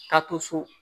Ka to so